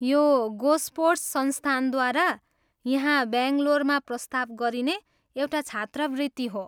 यो गोस्पोर्ट्स संस्थानद्वारा यहाँ ब्याङ्गलोरमा प्रस्ताव गरिने एउटा छात्रवृत्ति हो।